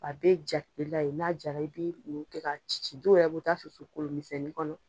A be ja kilela yen, n'a jara i bi muru kɛ ka ci ci, dɔw yɛrɛ b'u ta susu kolonmisɛnnin kɔnɔ.